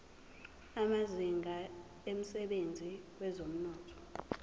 amazinga emsebenzini wezomnotho